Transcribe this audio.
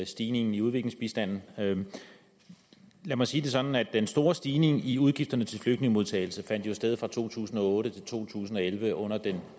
stigningen i udviklingsbistanden lad mig sige det sådan at den store stigning i udgifterne til flygtningemodtagelse jo fandt sted fra to tusind og otte til to tusind og elleve under den